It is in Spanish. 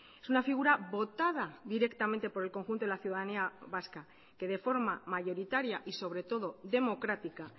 es una figura votada directamente por el conjunto de la ciudadanía vasca que de forma mayoritaria y sobre todo democrática